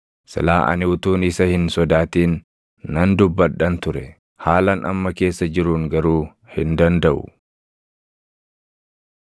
Silaa ani utuun isa hin sodaatin nan dubbadhan ture; haalan amma keessa jiruun garuu hin dandaʼu.